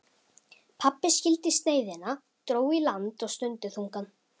Pabbi skildi sneiðina, dró í land og stundi þungan